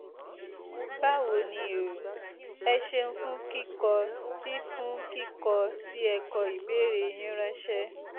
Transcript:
báwo ni o? ẹ ṣeun fún kíkọ tí fún kíkọ tí ẹ kọ ìbéèrè yín ránṣẹ́